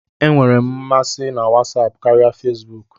E nwere m masị na Wọsọpu karịa Fezbuuku.